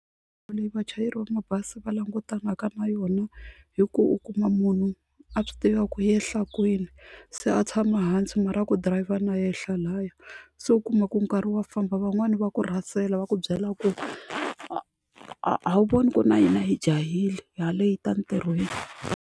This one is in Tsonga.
Leyi vachayeri va mabazi va langutanaka na yona hi ku u kuma munhu a swi tiva ku u yehla kwini se a tshama hansi mara a ku dirayivha na yehla lahaya se u kuma ku ri nkarhi wa famba van'wani va ku rhasela va ku byela ku a a wu voni ku ri na hina hi jahile ha later emintirhweni.